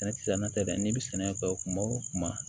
Sɛnɛkisɛ na tɛ dɛ n'i bi sɛnɛ kɛ kuma o kuma